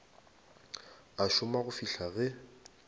a šoma go fihla ge